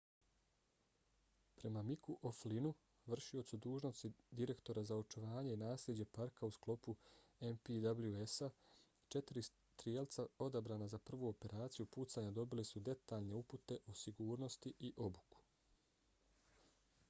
prema micku o'flynnu vršiocu dužnosti direktora za očuvanje i nasljeđe parka u sklopu npws-a četiri strijelaca odabrana za prvu operaciju pucanja dobili su detaljne upute o sigurnosti i obuku